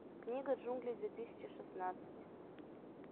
книга джунглей две тысячи шестнадцать